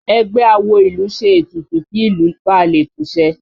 Ẹgbẹ́ awo ìlú ṣe ètùtù kí ìlú balè tùṣẹ